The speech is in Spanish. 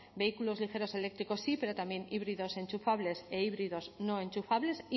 vehículos ligeros eléctrico sí pero también híbridos enchufables e híbridos no enchufables